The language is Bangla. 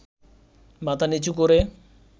মাথা নিচু করে